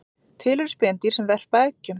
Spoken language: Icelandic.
Til eru spendýr sem verpa eggjum